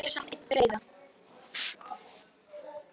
En gerið mér samt einn greiða.